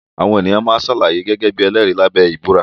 Àwọn èèyàn máa ṣàlàyé gẹ́gẹ́ bí ẹlẹ́rìí lábẹ́ ìbúra